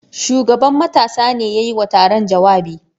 Shugaban matasa ne ya yi wa taron jawabi.